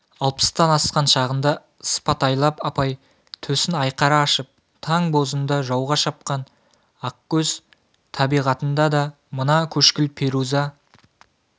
алпыстан асқан шағында сыпатайлап апай төсін айқара ашып таң бозында жауға шапқан ақкөз табиғатында да мына көкшіл перуза